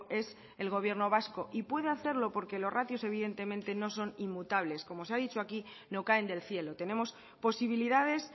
es el gobierno vasco y puede hacerlo porque los ratios evidentemente no son inmutables como se ha dicho aquí no caen del cielo tenemos posibilidades